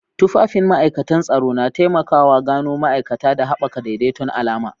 Tufafin ma'ikatan tsaro na taimaka wa gano ma'aikata da haɓaka daidaiton alama.